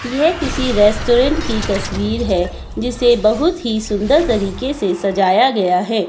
यह किसी रेस्टोरेंट की तस्वीर है जिसे बहुत ही सुंदर तरीके से सजाया गया है।